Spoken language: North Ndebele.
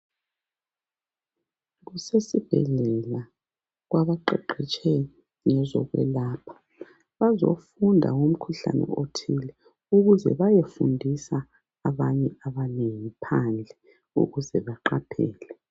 Kusesi bhedlela kwabaqeqetshe ngezokulapha. Bazofunda ngomkhuhlane othile ukuze bayefundisa abanye abanengi phandle ukuze baqaphele.